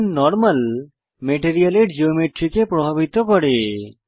এখন নরমাল মেটেরিয়ালের জিওমেট্রি কে প্রভাবিত করে